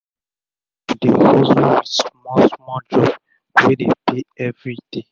pipu dey hustle wit small small job wey dey pay everi day